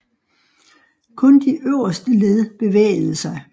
Kun det øverste led bevægede sig